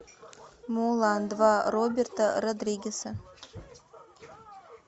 мулан два роберта родригеса